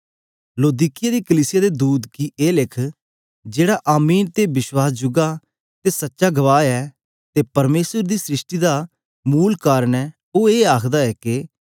लौदीकिया दी कलीसिया दे दूत गी ए लिख जेहड़ा आमीन ते बश्वास जुगा ते सच्चा गवाह ऐ ते परमेसर दी सृष्टि दा मूल कारन ऐ ओ ए आखदा ऐ के